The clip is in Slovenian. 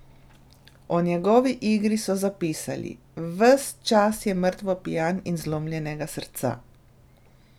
O njegovi igri so zapisali: "Ves čas je mrtvo pijan in zlomljenega srca ...